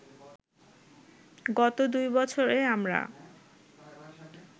গত দুই বছরে আমরা